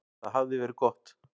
Það hafði verið gott.